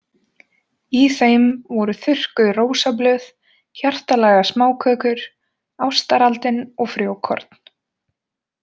Í þeim voru þurrkuð rósablöð, hjartalaga smákökur, ástaraldin og frjókorn.